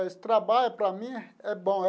Esse trabalho, para mim, é bom é.